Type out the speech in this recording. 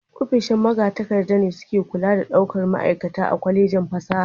Ofishin magatakarda ne suke kula da daukar ma'aikata a Kwallejin fasaha.